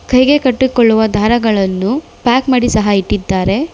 ಕೈಗೆ ಕಟ್ಟಿಕೊಳ್ಳುವ ದಾರಗಳನ್ನು ಪ್ಯಾಕ್ ಮಾಡಿ ಸಹ ಇಟ್ಟಿದ್ದಾರೆ.